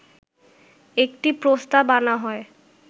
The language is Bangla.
একটি প্রস্তাব আনা হয়